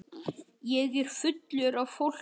Ég er fullur af fólki.